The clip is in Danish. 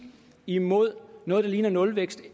imod noget der ligner nulvækst